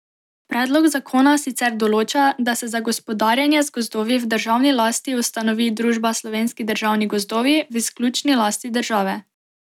Predlog zakona sicer določa, da se za gospodarjenje z gozdovi v državni lasti ustanovi družba Slovenski državni gozdovi v izključni lasti države.